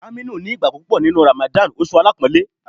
Aminu ni ìgbàgbọ́ púpọ̀ Ramadan, oṣù alápọ̀ńlé.